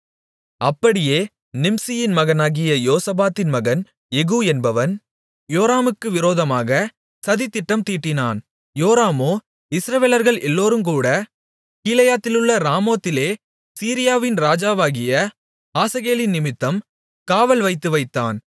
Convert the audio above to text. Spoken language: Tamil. அப்படியே நிம்சியின் மகனாகிய யோசபாத்தின் மகன் யெகூ என்பவன் யோராமுக்கு விரோதமாக சதித்திட்டம் தீட்டினான் யோராமோ இஸ்ரவேலர்கள் எல்லோரோடுங்கூட கீலேயாத்திலுள்ள ராமோத்திலே சீரியாவின் ராஜாவாகிய ஆசகேலினிமித்தம் காவல் வைத்துவைத்தான்